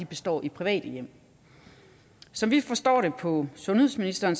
består i private hjem som vi forstår det på sundhedsministeren